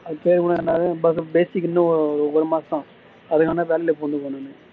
இன்னும் ஒரு மாசம்